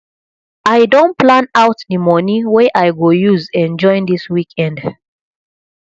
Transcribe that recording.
i don plan out the money wey i go use enjoy dis weekend